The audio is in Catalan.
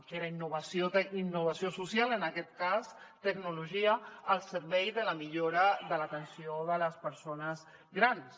que era innovació social en aquest cas tecnologia al servei de la millora de l’atenció de les persones grans